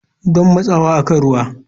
Don matsawa akan ruwa.